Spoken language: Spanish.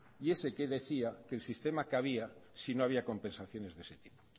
y ese que decía que el sistema que había si no había compensaciones de ese tipo